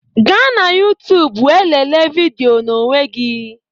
Gaa na youtube wee lelee vidiyo n'onwe gị